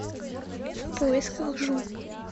в поисках жу